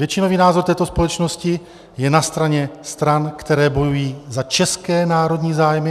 Většinový názor této společnosti je na straně stran, které bojují za české národní zájmy.